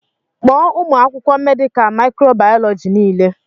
Kpọọ ụmụ akwụkwọ mèdịká mịkròbàyọlọjíi niile